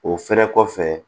O fɛnɛ kɔfɛ